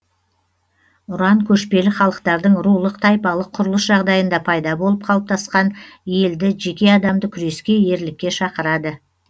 ұран көшпелі халықтардың рулық тайпалық құрылыс жағдайында пайда болып қалыптасқан елді жеке адамды күреске ерлікке шақырады